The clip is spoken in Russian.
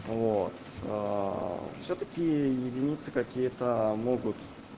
вот всё таки единицы какие-то могут